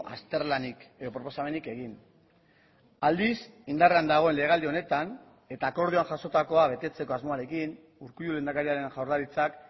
azterlanik proposamenik egin aldiz indarrean dagoen legealdi honetan eta akordioa jasotakoa betetzeko asmoarekin urkullu lehendakariaren jaurlaritzak